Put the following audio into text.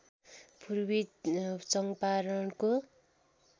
पूर्वी चङ्पारणको